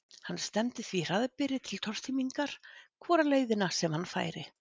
Hann stefndi því hraðbyri til tortímingar hvora leiðina sem hann færi.